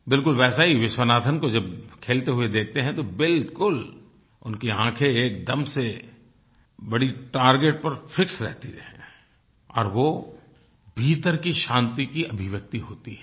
बिलकुल वैसे ही विश्वनाथन को जब खेलते हुए देखते हैं तो बिलकुल उनकी आँखें एकदम से बड़ी टार्गेट पर फिक्स रहती हैं और वो भीतर की शांति की अभिव्यक्ति होती है